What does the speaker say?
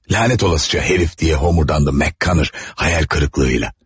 Lənət olasica hərif, deyə homurdandı McCroner, xəyal qırıqlığıyla.